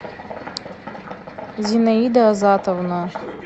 зинаида азатовна